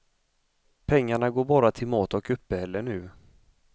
Pengarna går bara till mat och uppehälle nu.